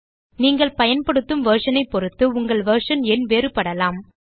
நீங்கள் பயன்படுத்தும் வெர்ஷன் ஐ பொருத்து உங்கள் வெர்ஷன் எண் வேறுபடலாம்